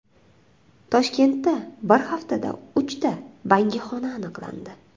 Toshkentda bir haftada uchta bangixona aniqlandi.